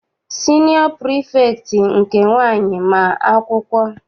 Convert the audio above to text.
Siniọ pirifektị nke nwaanyị ma akwụkwọ.